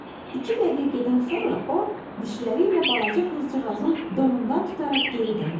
İki dəqiqədən sonra o, dişləri ilə balaca qızcığazın donundan tutaraq geri döndü.